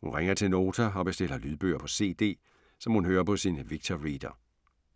Hun ringer til Nota og bestiller lydbøger på CD, som hun lytter på sin Victor Reader.